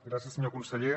gràcies senyor conseller